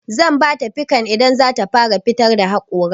Zan bata pikan idan zata fara fitar da haƙora.